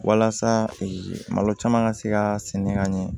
Walasa malo caman ka se ka sɛnɛ ka ɲɛ